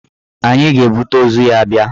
Anyị ga-ebute ozu ya bịa.